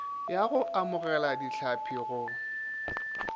ya go amogela dihlapi go